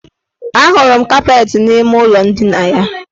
Ahụrụ m kapeetị n' ime ụlọ ndina ya.